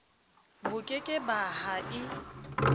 boke ke ba ha e